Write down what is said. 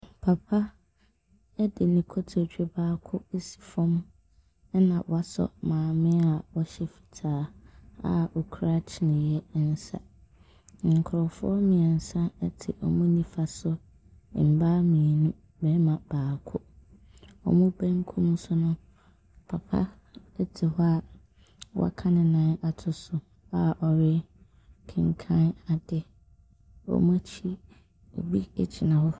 Papa de ne kotodwe baako asi fam, ɛna wɔasɔ maame a ɔhyɛ fitaa a ɔkura kyiniiɛ nsa. Nkurɔfoɔ mmeɛnsa te wɔn nifa so, mmaa mmienu, barima baako. Wɔn benkum so no. Papa te hɔ a waka ne nan ato so a ɔrekenkan adeɛ. Wɔn akyi, obi gyina hɔ.